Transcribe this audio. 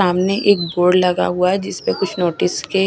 सामने एक बोर्ड लगा हुवा हैं जिसपे कुछ नोटिस के--